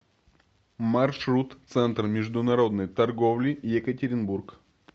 маршрут центр международной торговли екатеринбург